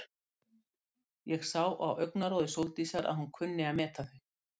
Ég sá á augnaráði Sóldísar að hún kunni að meta þau.